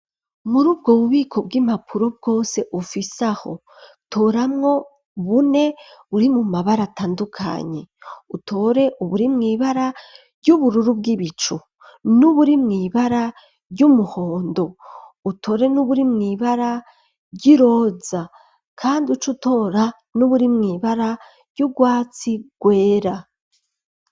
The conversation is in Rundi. Muri ubwo bubiko, bw'impapuro bwose, ufise aho, toramwo bune, buri mu mabara atandukanye; utore uburi mw'ibara ry'ubururu, bw'ibicu, n'uburi mw'ibara ry'umuhondo, utore n'uburi mw'ibara ry'iroza, kandi uce utora, n'uburi mw'ibara y'urwatsi rwera.